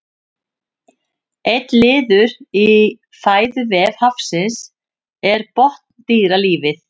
einn liður í fæðuvef hafsins er botndýralífið